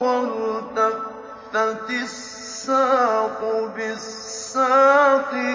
وَالْتَفَّتِ السَّاقُ بِالسَّاقِ